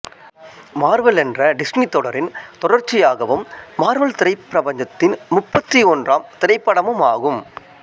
Marvel என்ற Disney தொடரின் தொடர்ச்சியாகவும் மார்வல் திரைப் பிரபஞ்சத்தின் முப்பத்தி ஒன்றாம் திரைப்படமும் ஆகும்